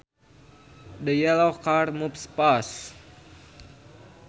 The yellow car moves fast